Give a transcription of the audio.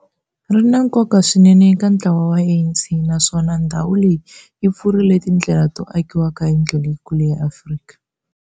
Ri na nkoka swinene eka ntlawa wa ANC, naswona ndhawu leyi yi pfurile tindlela to akiwa ka yindlu leyikulu ya Afrika.